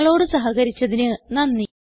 ഞങ്ങളോട് സഹകരിച്ചതിന് നന്ദി